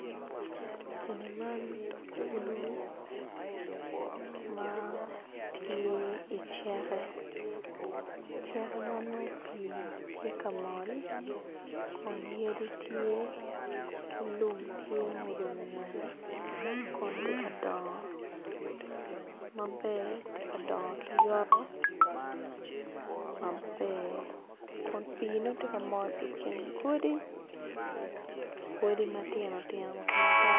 Eni man kulu ma tye iceke ceke ma nongo pii tye ka mol kun yadi tye ki lum tye murumu ngette kun ti ka dongo maber ti ka dongo ki yoto maber kun piine ti ka mol i kin godi godi matino tino wa ki madongo.